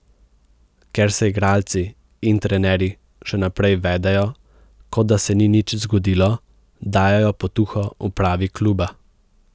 Ker se igralci in trenerji še naprej vedejo, kot da se ni nič zgodilo, dajejo potuho upravi kluba.